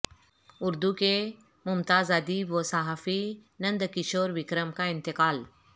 اردو کے ممتاز ادیب و صحافی نند کشور وکرم کا انتقال